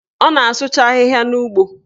Ọ na-asụcha ahịhịa n'ugbo